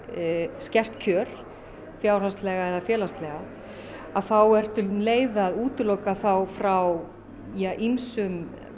skert kjör fjárhagslega eða félagslega þá ertu um leið að útiloka þá frá ýmsum